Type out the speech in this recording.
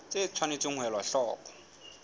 tse tshwanetseng ho elwa hloko